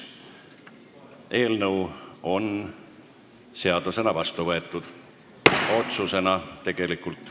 Eelnõu on seadusena vastu võetud, otsusena tegelikult.